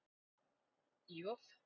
J